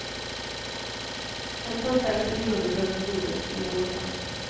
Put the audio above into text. En första intervjuundersökning gjordes för ett år sedan.